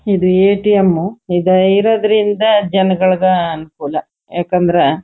ಇದು ಎ_ಟಿ_ಎಂ ಇದು ಇರೋದ್ರಿಂದ ಜನಗಳಗ್ ಅನುಕೂಲ ಯಾಕಂದ್ರ--